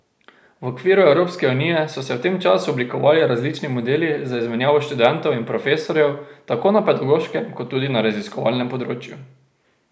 V okviru Evropske unije so se v tem času oblikovali različni modeli za izmenjavo študentov in profesorjev tako na pedagoškem kot tudi na raziskovalnem področju.